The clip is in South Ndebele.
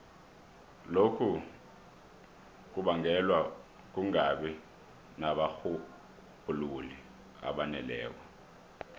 lokhu kubangelwa kungabi nabarhubhululi abaneleko